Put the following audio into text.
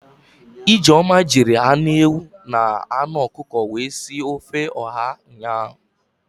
Ijeoma jiri anụ ewu na anụ ọkụkọ wee si ofe ọha ụnyaahụ